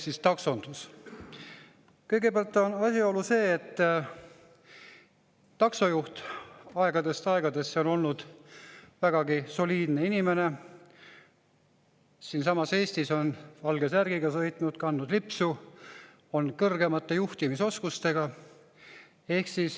Kõigepealt on asjaolu see, et taksojuht on aegadest aegadesse olnud vägagi soliidne inimene: siinsamas Eestis on ta valge särgiga sõitnud, kandnud lipsu, on kõrgemate juhtimisoskustega.